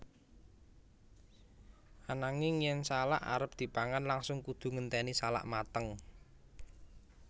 Ananging yen salak arep dipangan langsung kudu ngenténi salak mateng